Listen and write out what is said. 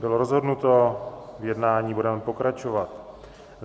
Bylo rozhodnuto, v jednání budeme pokračovat.